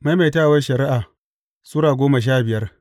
Maimaitawar Shari’a Sura goma sha biyar